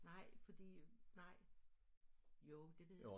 Nej fordi nej jo det ved